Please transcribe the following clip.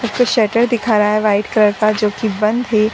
Sweater दिखा रहा है व्हाइट कलर का जो कि बंद है ।